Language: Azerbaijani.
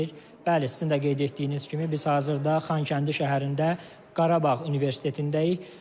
Bəli, sizin də qeyd etdiyiniz kimi biz hazırda Xankəndi şəhərində Qarabağ Universitetindəyik.